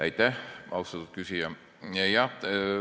Aitäh, austatud küsija!